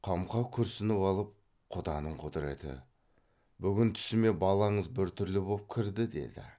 қамқа күрсініп алып құданың құдіреті бүгін түсіме балаңыз біртүрлі боп кірді деді